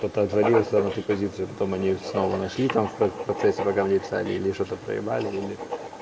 кто-то отвалился на ту позицию потом они снова нашли там в процессе пока мне писали или что-то проебали или